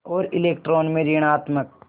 और इलेक्ट्रॉन में ॠणात्मक